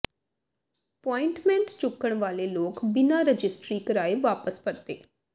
ਪੁਆਇੰਟਮੈਂਟ ਚੁੱਕਣ ਵਾਲੇ ਲੋਕ ਬਿਨ੍ਹਾਂ ਰਜਿਸਟਰੀ ਕਰਾਏ ਵਾਪਸ ਪਰਤੇ